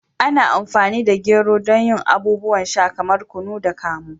Ana amfani da gero don yin abubuwan sha kamar kunu da kamu.